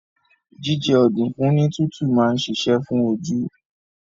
Jíjẹ ọ̀dùnkún ní tútù máa ń ṣiṣẹ́ fún oju